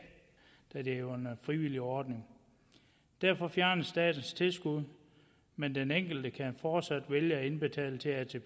da det jo er en frivillig ordning derfor fjernes statens tilskud men den enkelte kan fortsat vælge at indbetale til til